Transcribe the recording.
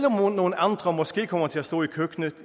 om nogle andre måske kommer til at stå i køkkenet